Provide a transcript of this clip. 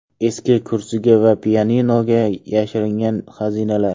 Eski kursiga va pianinoga yashiringan xazinalar.